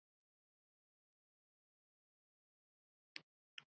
Þín dóttir, Vala.